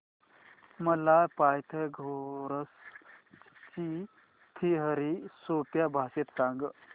मला पायथागोरस ची थिअरी सोप्या भाषेत सांग